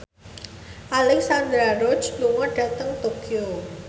Alexandra Roach lunga dhateng Tokyo